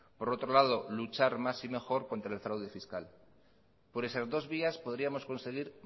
por otro lado luchar más y mejor contra el fraude fiscal por esas dos vías podríamos conseguir